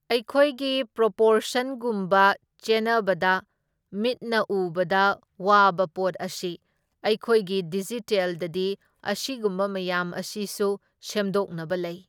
ꯑꯩꯈꯣꯏꯒꯤ ꯄ꯭ꯔꯣꯄꯣꯔꯁꯟꯒꯨꯝꯕ ꯆꯦꯟꯅꯕꯗ ꯃꯤꯠꯅ ꯎꯕꯗ ꯋꯥꯕ ꯄꯣꯠ ꯑꯁꯤ ꯑꯩꯈꯣꯏꯒꯤ ꯗꯤꯖꯤꯇꯦꯜꯗꯗꯤ ꯃꯁꯤꯒꯨꯝꯕ ꯃꯌꯥꯝ ꯑꯁꯤꯁꯨ ꯁꯦꯝꯗꯣꯛꯅꯕ ꯂꯩ꯫